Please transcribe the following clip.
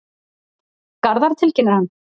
Garðar, tilkynnir hann.